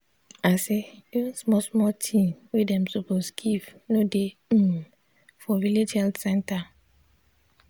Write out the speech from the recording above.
i say even small small thing wey dem suppose give no dey um for village health center.